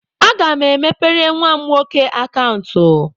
Aga m emepere nwa m nwoke akaụntụ.